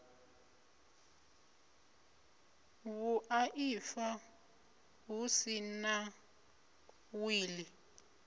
vhuaifa hu si na wili